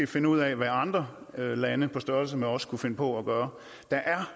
finder ud af hvad andre lande på størrelse med vores kunne finde på at gøre der er